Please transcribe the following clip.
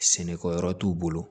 Sɛnɛkɛ yɔrɔ t'u bolo